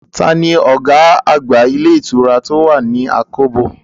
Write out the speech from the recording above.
Taa ni ọ̀gá àgbà ilé ìtura tó wà ní àkóbò?